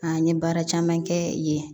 An ye baara caman kɛ yen